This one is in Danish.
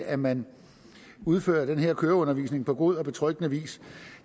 at man udfører den her køreundervisning på god og betryggende vis